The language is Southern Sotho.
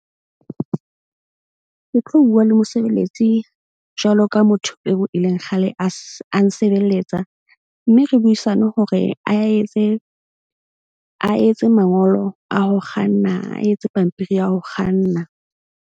Ke tlo bua le mosebeletsi jwalo ka motho eo e leng kgale a a nsebeletsa. Mme re buisane hore a etse a etse mangolo a ho kganna, a etse pampiri ya ho kganna.